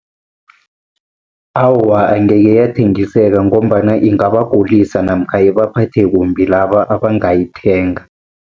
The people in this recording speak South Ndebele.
Awa, angeke yathengiseka, ngombana ingabagulisa namkha ibaphathe kumbi laba abangayithenga.